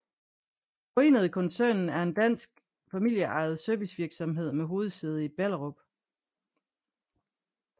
Forenede Koncernen er en dansk familieejet servicevirksomhed med hovedsæde i Ballerup